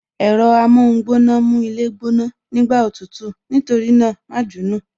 Ẹ̀rọ amóhun gbóná mú ilé gbóná, nígbà òtútù, nítorí náà, ma jù ú nù